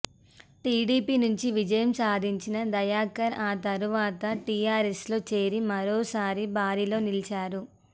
TDP నుంచి విజయం సాధించిన దయాకర్ ఆ తరువాత టీఆర్ఎస్లో చేరి మరోసారి బరిలో నిలిచారు